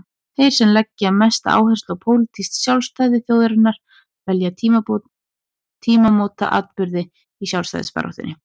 Þeir sem leggja mesta áherslu á pólitískt sjálfstæði þjóðarinnar velja tímamótaatburði í sjálfstæðisbaráttunni.